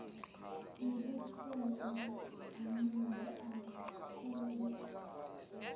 wububele anabo akakuyeki